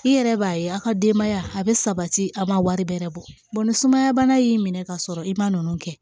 I yɛrɛ b'a ye a ka denbaya a bɛ sabati a ma wari bɛrɛ bɔ ni sumaya bana y'i minɛ ka sɔrɔ i ma ninnu kɛ